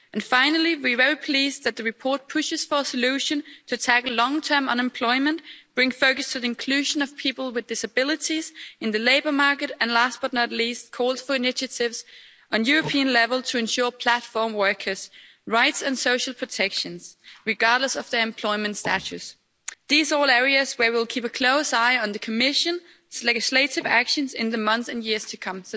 Finally, we are very pleased that the report pushes for a solution to tackle long term unemployment, brings focus to the inclusion of people with disabilities in the labour market, and last but not least calls for initiatives at European level to ensure platform workers' rights and social protections, regardless of their employment status. These are all areas where we'll keep a close eye on the Commission's legislative actions in the months and years to come.